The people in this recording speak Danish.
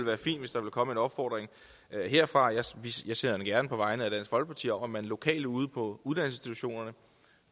være fint hvis der kunne komme en opfordring herfra og jeg sender den gerne på vegne af dansk folkeparti om at man lokalt ude på uddannelsesinstitutionerne